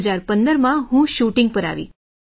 પછી 2015 માં હું શૂટિંગ પર આવી